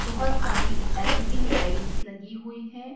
बहुत सारी L E D lights लगी हुई है।